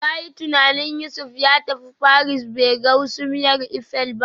Ka yi tunanin Yusuf ya tafi Paris bai ga hasumiyar Eiffel ba